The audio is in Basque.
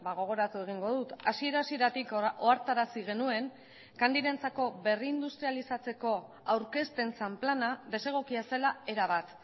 gogoratu egingo dut hasiera hasieratik ohartarazi genuen candyrentzako berrindustrializatzeko aurkezten zen plana desegokia zela erabat